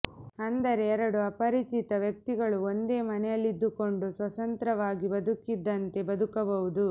ಅಂದರೆ ಎರಡು ಅಪರಿಚಿತ ವ್ಯಕ್ತಿಗಳು ಒಂದೇ ಮನೆಯಲ್ಲಿದ್ದುಕೊಂಡು ಸ್ವತಂತ್ರವಾಗಿ ಬದುಕಿದಂತೆ ಬದುಕಬಹುದು